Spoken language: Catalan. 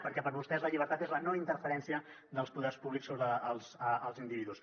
perquè per vostès la llibertat és la no interferència dels poders públics sobre els individus